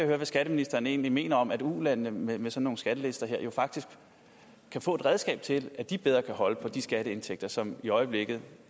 høre hvad skatteministeren egentlig mener om at ulandene med med sådan nogle skattelister her faktisk kan få et redskab til at de bedre kan holde på de skatteindtægter som i øjeblikket